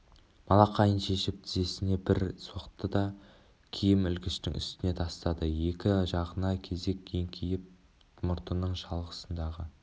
малақайын шешіп тізесіне бір соқты да киім ілгіштің үстіне тастады екі жағына кезек еңкейіп мұртының шалғысындағы